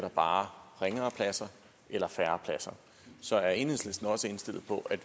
bare ringere pladser eller færre pladser så er enhedslisten også indstillet på at